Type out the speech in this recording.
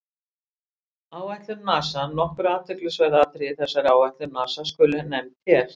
Áætlun NASA Nokkur athyglisverð atriði í þessari áætlun NASA skulu nefnd hér.